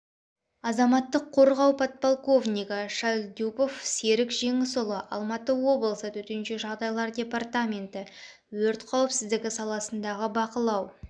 азаматтық қорғау подполковнигі шальдюпов серік жеңісұлы алматы облысы төтенше жағдайлар департаменті өрт қауіпсіздігі саласындағы бақылау